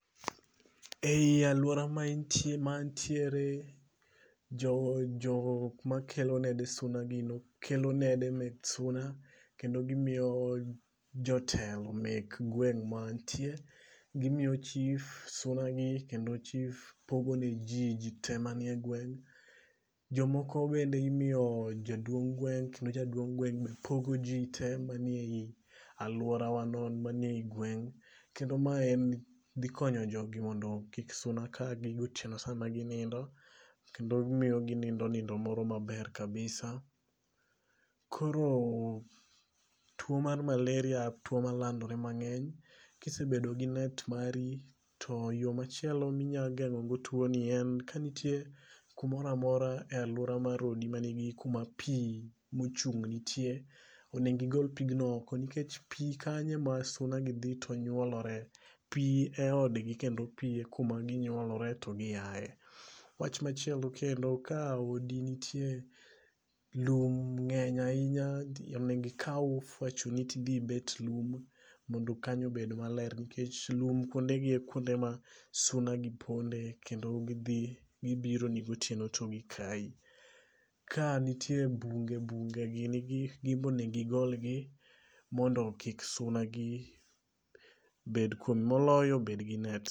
E yi aluora ma antiere, jok makelo nede suna kele nede mek suna kendo gimiyo jotelo mek gweng' ma antie. Gimiyu chief suna gi kendo chief pogonej. Ji te mani e gweng'. Jomogo bende imiyo jaduong' gweng' kendo jaduong' gweng pogo ji te manie yi aluora wa no manie yi gweng'. kendo mae dhi konyo jogi mondo kik suna ka gi gotieno sama ginindo. Kendo miyo ginindo nindo moro maber kabisa. Koro tuo mar malaria tuo malandore mang'eny. Kisebedo gi net mari to yo machielo minyageng'o go tuo ni, ka nitie kumoro amora e aluora mar odi mani gi kuma pi mochung' nitie. Onego igol pig no oko. Nikech pi kanyo e ma suna gi dhi to nyuolore. Pi e odgni kendo pi e kuma ginyuolore to gi aye. Wach machielo kendo ka odi nitie lum ng'eny ahinya onego ikaw ofwachoni tidhi bet lum mondo kanyo obed maler. Nikech lum kuonde gi e kuonde ma suna gi ponde kendo gibironi gotieno to gikayi. Ka nitie bunge, bunge gini gimbe onego igolgi mondo kik suna gi bed kuomgi. Moloyo bed gi net.